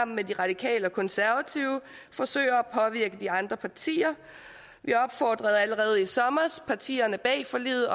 med de radikale og konservative forsøger at påvirke de andre partier vi opfordrede allerede i sommer partierne bag forliget